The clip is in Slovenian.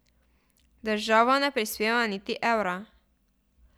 Država ne prispeva niti evra.